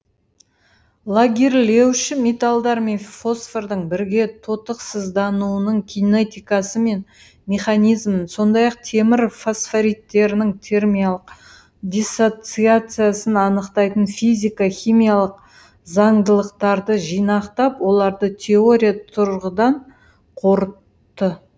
лагерлеуші металдар мен фосфордың бірге тотықсыздануының кинетикасы мен механизмін сондай ақ темір фосфориттерінің термиялық диссоциациясын анықтайтын физика химиялық заңдылықтарды жинақтап оларды теория тұрғыдан қорытты